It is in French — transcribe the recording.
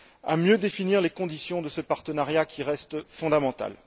à mieux définir les conditions de ce partenariat qui reste fondamental.